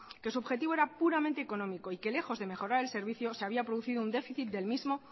que su objetivo era puramente económico y que lejos de mejorar el servicio se había producido un déficit del mismo